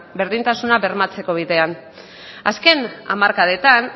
berdintasuna bermatzeko bidean azken hamarkadetan